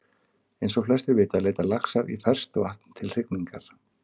Eins og flestir vita leita laxar í ferskt vatn til hrygningar.